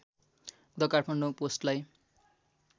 the Kathmandu पोस्टलाई